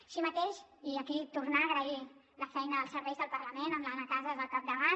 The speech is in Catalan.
així mateix tornar a agrair la feina als serveis del parlament amb l’anna casas al capdavant